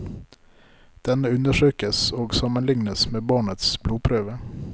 Denne undersøkes og sammenlignes med barnets blodprøve.